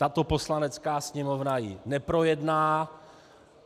Tato Poslanecká sněmovna ji neprojedná.